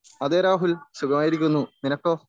അതെ രാഹുൽ സുഖമായി ഇരിക്കുന്നു നിനക്കോ?